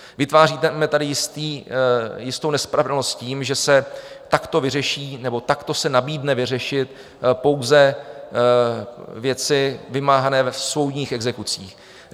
Vytváříme tady jistou nespravedlnost tím, že se takto vyřeší, nebo takto se nabídne vyřešit pouze věci vymáhané v soudních exekucích.